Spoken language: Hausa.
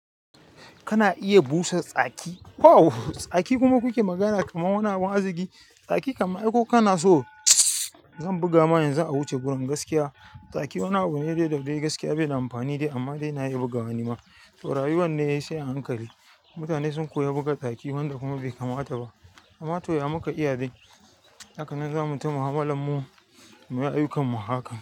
Kana iya busa tsaki. Tsaki kuma kuke magana kamar wani abun arziƙi. Tsaki kam ai ko kana so zan buga ma yanzu a wuce gurin gaskiya. Tsaki wani abu ne da dai gaskiya bai da amfani dai amma dai na iya bugawa nima. Taurari wanne yayi sai a hankali. Mutane sun koya buga tsaki wanda kuma bai kamata ba. Amma to ya muka iya dai. Haka nan zamu ta mu'amalar mu mu yi ayyukan mu a haka.